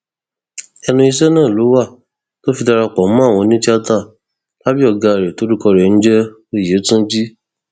ẹnu iṣẹ náà ló wà tó fi darapọ mọ àwọn onítìata lábẹ ọgá rẹ tórúkọ rẹ ń jẹ òyétúńjì